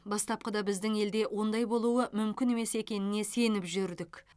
бастапқыда біздің елде ондай болуы мүмкін емес екеніне сеніп жүрдік